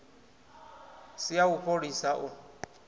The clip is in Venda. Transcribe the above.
si ya u fholisa u